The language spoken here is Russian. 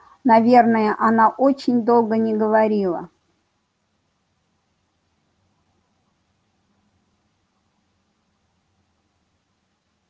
наверное она очень долго не говорила